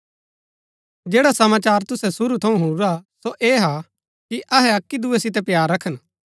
जैडा समाचार तुसै शुरू थऊँ हुणुरा सो ऐह हा कि अहै अक्की दुऐ सितै प्‍यार रखन